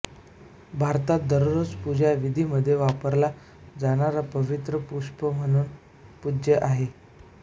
भारतात दररोज पूजा विधीमध्ये वापरला जाणारा पवित्र पुष्प म्हणून पूज्य आहे